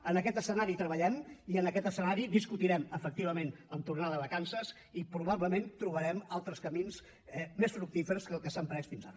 en aquest escenari treballem i en aquest escenari discutirem efectivament en tornar de vacances i probablement trobarem altres camins més fructífers que els que s’han pres fins ara